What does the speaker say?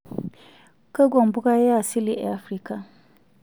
Kakua mpuka yaasili e Afrika?